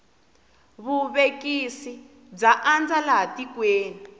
vuvekisi bya andza laha tikweni